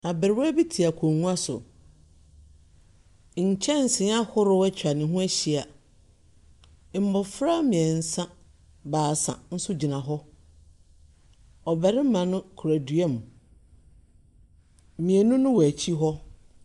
Abrewa bi te akonnwa so. Nkyɛnsee ahorow atwa ne ho ahyia. Mmofra mmiɛnsa, baasa nso gyina hɔ. Ɔbarima no kura dua mu. Mmienu no wɔ akyi hɔ. Ɔbarima no kura dua mu. Mmienu no wɔ akyi hɔ.